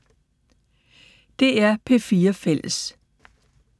DR P4 Fælles